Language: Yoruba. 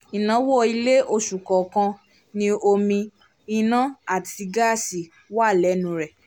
ináwó ilé oṣù kọọkan ní omi ina àti gaasi wà lẹ́nu rẹ̀